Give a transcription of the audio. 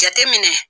Jateminɛ